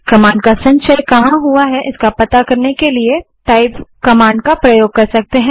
command का संचय कहाँ हुआ है इसका पता करने के लिए टाइप कमांड का प्रयोग कर सकते हैं